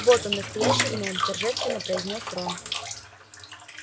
вот он настоящий гном торжественно произнёс рон